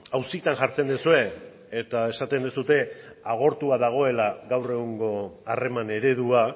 auzitan jartzen duzue eta esaten duzue agortua dagoela gaur egungo harreman eredua